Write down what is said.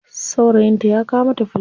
Saurayinta ya kawo mata fulawa.